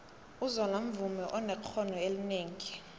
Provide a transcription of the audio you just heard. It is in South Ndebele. uzola mvumi onexhono elinengi